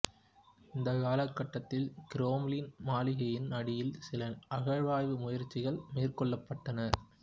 இந்தக் காலகட்டத்தில் கிரெம்ளின் மாளிகையின் அடியில் சில அகழ்வாய்வு முயற்சிகள் மேற்கொள்ளப்பட்டன